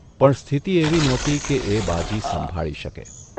સ્થિતિ એવી નહોતી કે એ બાજી સંભાળી શકે.